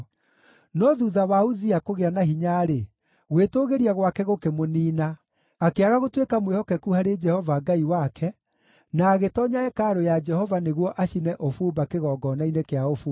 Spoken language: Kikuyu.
No thuutha wa Uzia kũgĩa na hinya-rĩ, gwĩtũũgĩria gwake gũkĩmũniina. Akĩaga gũtuĩka mwĩhokeku harĩ Jehova Ngai wake, na agĩtoonya hekarũ ya Jehova nĩguo acine ũbumba kĩgongona-inĩ kĩa ũbumba.